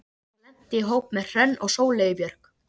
Ég lenti í hópi með Hrönn og Sóleyju Björk.